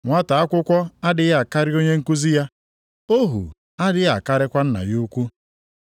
“Nwata akwụkwọ adịghị akarị onye nkuzi ya. Ohu adịghị akarịkwa nna ya ukwu.